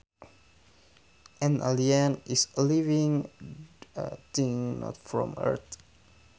An alien is a living thing not from earth